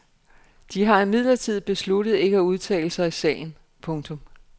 De har imidlertid besluttet ikke at udtale sig i sagen. punktum